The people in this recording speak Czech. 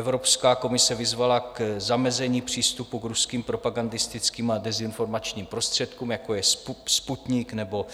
Evropská komise vyzvala k zamezení přístupu k ruským propagandistickým a dezinformačním prostředkům, jako je Sputnik nebo